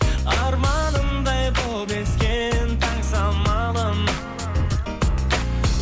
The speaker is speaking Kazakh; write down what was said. арманымдай боп ескен таң самалым